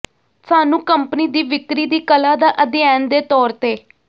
ਸਾਨੂੰ ਕੰਪਨੀ ਦੀ ਵਿਕਰੀ ਦੀ ਕਲਾ ਦਾ ਅਧਿਐਨ ਦੇ ਤੌਰ ਤੇ